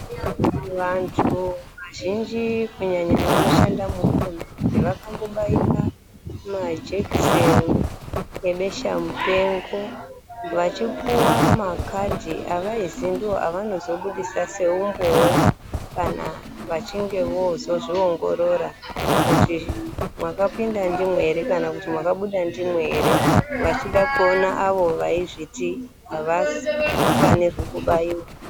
Vantu vazhinji kunyanya vanoshanda muhurumende, vakambobairwa majekiseni ebeshamupengo, vachipuwa makhadhi avaizi ndoavanozobudisa seumboowo, kana vachinge voozozviongorora kuti mwakapinda ndimwo ere, kana kuti mwakabuda ndimwo ere ,vachida kuona avo vaizviti avafanirwi kubaiwa.